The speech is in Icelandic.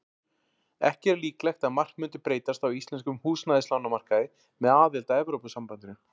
Ekki er líklegt að margt mundi breytast á íslenskum húsnæðislánamarkaði með aðild að Evrópusambandinu.